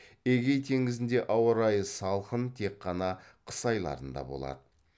эгей теңізінде ауа райы салқын тек қана қыс айларында болады